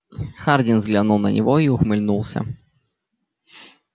хардин взглянул на него и ухмыльнулся